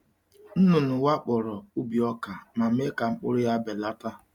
Nnụnụ wakporo ubi ọka ma mee ka mkpụrụ ya belata.